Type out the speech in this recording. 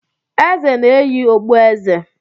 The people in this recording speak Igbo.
Eze na-eyi okpueze.